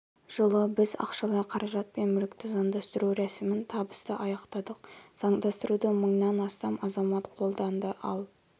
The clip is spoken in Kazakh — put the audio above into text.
жылы біз ақшалай қаражат пен мүлікті заңдастыру рәсімін табысты аяқтадық заңдастыруды мыңнан астам азамат қолданды ал